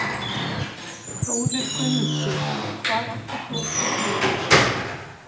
Þórir Guðmundsson: Hvar ætlar þú að sofa í nótt?